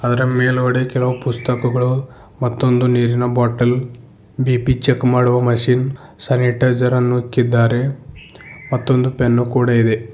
ಅದರ ಮೇಲ್ಗಡೆ ಕೆಲವು ಪುಸ್ತಕಗಳು ಮತ್ತೊಂದು ನೀರಿನ ಬಾಟಲ್ ಬಿ_ಪಿ ಚೆಕ್ ಮಾಡುವ ಮಷೀನ್ ಸ್ಯಾನಿಟೈಸರ್ ಅನ್ನು ಇಕ್ಕಿದ್ದಾರೆ ಮತ್ತು ಒಂದು ಪೆನ್ ಕೂಡ ಇದೆ.